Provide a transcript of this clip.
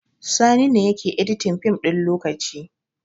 Sani ne yake editin fim ɗin lokaci